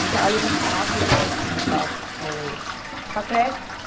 Porque ela levantava e ia levar os filhos para, para o, para a creche.